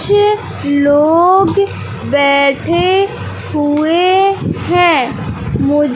छे लोग बैठे हुए हैं मु--